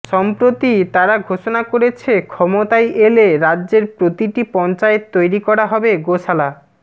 সম্প্রতি তারা ঘোষণা করেছে ক্ষমতায় এলে রাজ্যের প্রতিটি পঞ্চায়েতে তৈরি করা হবে গোশালা